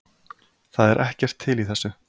Það er ekkert til í þessu